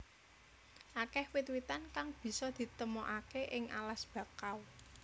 Akeh wit witan kang bisa ditemokaké ing alas bakau